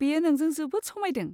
बेयो नोंजों जोबोद समायदों।